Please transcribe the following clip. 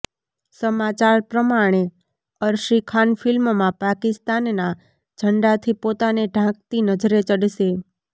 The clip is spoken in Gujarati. સમાચાર પ્રમાણે અર્શી ખાન ફિલ્મમાં પાકિસ્તાનના ઝંડાથી પોતાને ઢાંકતી નજરે ચડશે